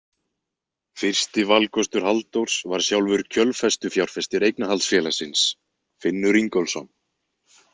Fyrsti valkostur Halldórs var sjálfur kjölfestufjárfestir eignarhaldsfélagsins, Finnur Ingólfsson.